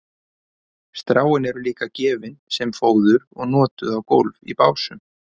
stráin eru líka gefin sem fóður og notuð á gólf í básum